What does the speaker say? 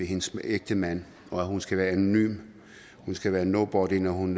hendes ægtemand og at hun skal være anonym hun skal være nobody når hun